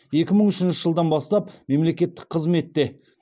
екі мың үшінші жылдан бастап мемлекеттік қызметте